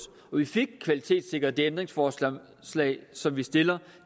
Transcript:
og vi fik kvalitetssikret det ændringsforslag som vi stiller